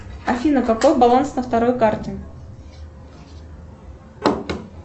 афина какой баланс на второй карте